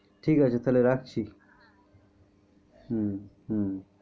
ঠিক আছে তাহলে রাখছি, হুম, হুম।